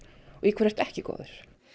og í hverju ertu ekki góður